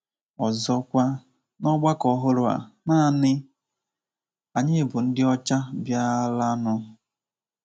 Ọzọkwa, n’ọgbakọ ọhụrụ a, nanị anyị bụ ndị ọcha bịaranụ.